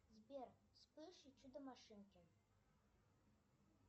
сбер вспыш и чудо машинки